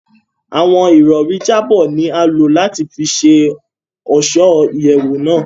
Awọn irọri jabọ ni a lo lati fí ṣe ọṣọ iyẹwu náà